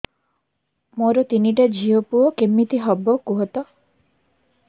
ମୋର ତିନିଟା ଝିଅ ପୁଅ କେମିତି ହବ କୁହତ